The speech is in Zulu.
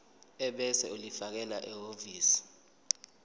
ebese ulifakela ehhovisi